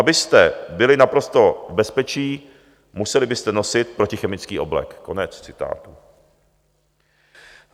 Abyste byli naprosto v bezpečí, museli byste nosit protichemický oblek."